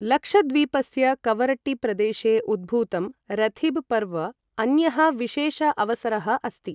लक्षद्वीपस्य कवरट्टीप्रदेशे उद्भूतं रथीब् पर्व अन्यः विशेष अवसरः अस्ति।